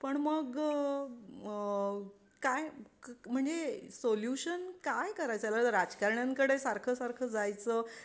पण मग आहे काय म्हणजे सोल्यूशन काय करायचं राजकारणाकडे सारखं सारखं जायचं.